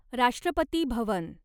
राष्ट्रपती भवन